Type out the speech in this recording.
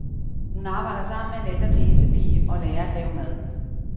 Hun arbejder sammen med en ældre tjenestepige og lærer at lave mad.